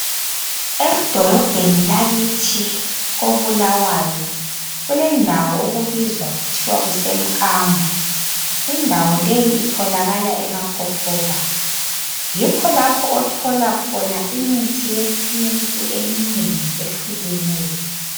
Edolobheni lakithi koBulawayo kulendawo okubizwa kuthiwa kusemkambo. Indawo leyi itholakala eMakokoba. Yikho lapho okutholakala khona imithi yesintu eminengi ehlukeneyo.